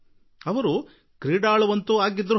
ಅವರು ಆಟಗಾರರೇನೋ ಹೌದು